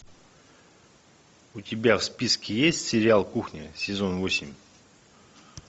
у тебя в списке есть сериал кухня сезон восемь